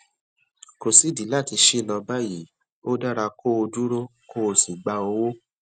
kò sídìí láti ṣí lọ báyìí ó dára kó o dúró kó o sì gba owó